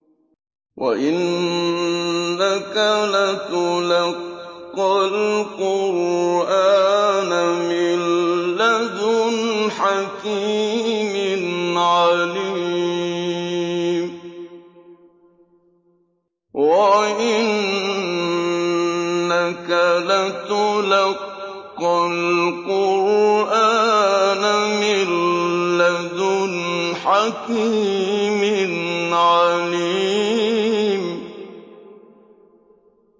وَإِنَّكَ لَتُلَقَّى الْقُرْآنَ مِن لَّدُنْ حَكِيمٍ عَلِيمٍ